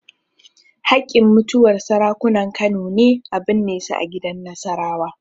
Haƙƙin mutuwar Sarakunan Kano ne a binne su gidan Nasarawa.